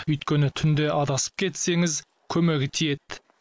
өйткені түнде адасып кетсеңіз көмегі тиеді